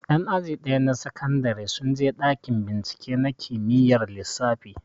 Ƴan aji ɗaya na sakandare sun je ɗakin bincike na kimiyyar lissafi